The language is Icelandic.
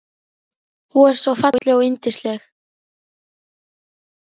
Þú ert svo falleg og yndisleg.